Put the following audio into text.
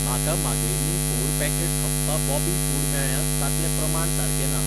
म्हाका मागयिल्लीं four packets हप्पा बॅबी फूड मेळ्ळ्यांत तांतलें प्रमाण सारखें ना.